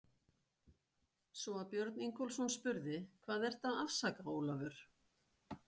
Svo að Björn Ingólfsson spurði: Hvað ertu að afsaka, Ólafur?